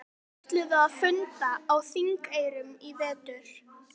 Þeir ætluðu að funda á Þingeyrum í vetur.